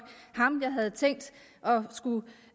ham jeg havde tænkt